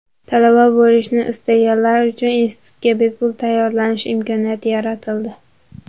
Talaba bo‘lishni istaganlar uchun institutga bepul tayyorlanish imkoniyati yaratildi.